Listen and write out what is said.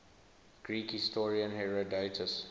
greek historian herodotus